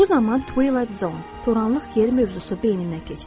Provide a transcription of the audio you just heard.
Bu zaman Twilah Zone, toranlıq yeri mövzusu beynimdən keçdi.